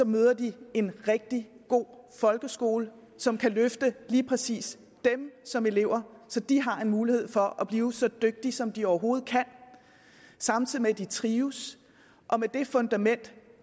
møder de en rigtig god folkeskole som kan løfte lige præcis dem som elever så de har en mulighed for at blive så dygtige som de overhovedet kan samtidig med at de trives med det fundament